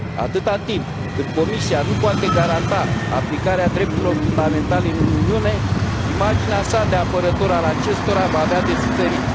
Atâta timp cât Comisia nu poate garanta aplicarea drepturilor fundamentale în Uniune, imaginea sa de apărător al acestora va avea de suferit.